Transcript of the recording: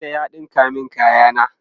tela ya ɗinka min kaya na